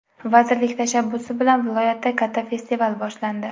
Vazirlik tashabbusi bilan viloyatda katta festival boshlandi.